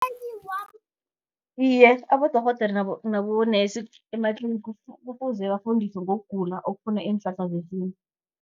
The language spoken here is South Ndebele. Iye, abodorhodere nabo nurse ematlinigi, kufuze bafundiswe ngokugula okufuna iinhlahla zesintu.